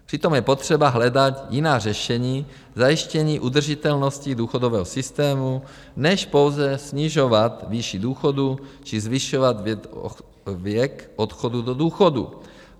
Přitom je potřeba hledat jiná řešení zajištění udržitelnosti důchodového systému než pouze snižovat výši důchodu či zvyšovat věk odchodu do důchodu.